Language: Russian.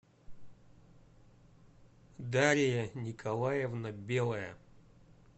дарья николаевна белая